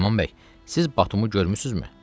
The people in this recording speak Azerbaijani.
Süleyman bəy, siz Batumu görmüsünüzmü?